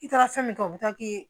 I taara fɛn min kɛ o bɛ taa k'i